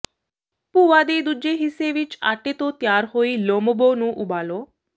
ਭੂਆ ਦੇ ਦੂਜੇ ਹਿੱਸੇ ਵਿੱਚ ਆਟੇ ਤੋਂ ਤਿਆਰ ਹੋਈ ਲੋਮਬੋ ਨੂੰ ਉਬਾਲੋ